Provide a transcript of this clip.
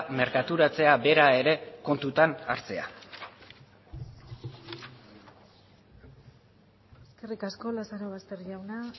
merkaturatzea bera ere kontutan hartzea eskerrik asko lazarobaster jauna